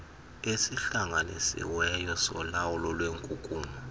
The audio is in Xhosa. esihlanganisiweyo solawulo lwenkunkuma